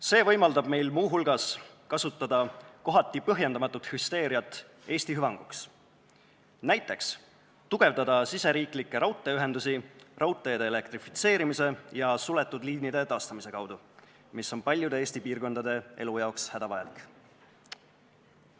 See võimaldab meil muu hulgas kasutada kohati põhjendamatut hüsteeriat Eesti hüvanguks, näiteks tugevdada riigisiseseid raudteeühendusi, elektrifitseerides raudteed ja taastades suletud liine, mis on paljude Eesti piirkondade elu jaoks hädavajalik.